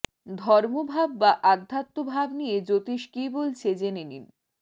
ধর্মভাব বা আধ্যাত্মভাব নিয়ে জ্যোতিষ কি বলছে জেনে নিন